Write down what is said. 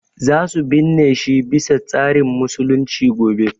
Za su binne shi bi sa tsarin musulunci gobe